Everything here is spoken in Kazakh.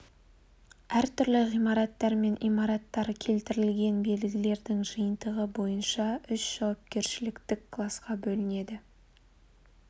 әртүрлі ғимараттар мен имараттар келтірілген белгілердің жиынтығы бойынша үш жауапкершіліктік класқа бөлінеді